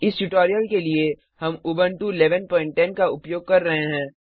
इस ट्यूटोरियल के लिए हम उबंटू 1110 का उपयोग कर रहे हैं